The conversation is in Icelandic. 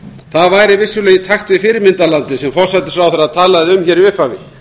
það væri vissulega í takt við fyrirmyndarlandið sem forsætisráðherra talaði um hér í upphafi